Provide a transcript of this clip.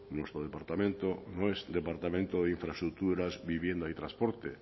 nuestro departamento no es departamento de infraestructuras vivienda y transporte